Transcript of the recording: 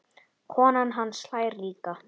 Konan hans hlær líka.